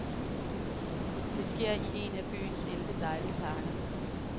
Det sker i en af byens elleve dejlige parker.